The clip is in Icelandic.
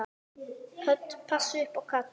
Hödd: Passa upp á kallinn?